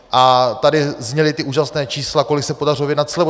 A tady zněla ta úžasná čísla, kolik se podařilo vyjednat slevu.